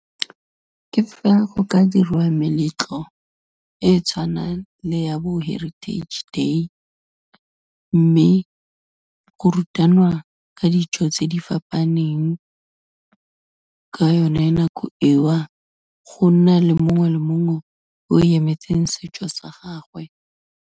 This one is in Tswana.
Ke fa go ka dirwa meletlo e tshwanang le ya bo Heritage Day, mme go rutanwa ka dijo tse di fapaneng ka yone nako eo, go na le mongwe le mongwe o emetseng setso sa gagwe.